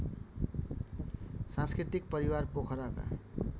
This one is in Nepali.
सांस्कृतिक परिवार पोखराका